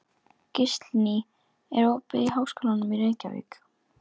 Gíslný, er opið í Háskólanum í Reykjavík?